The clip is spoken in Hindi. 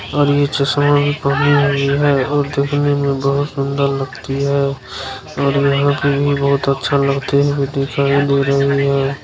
और ये चस्मा भी पहनी हुई है और देखने में बहुत सुंदर लगती है और यहाँ पे भी बहुत अच्छा लगती है दिखाई दे रही है।